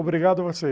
Obrigado a vocês.